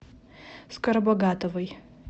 скоробогатовой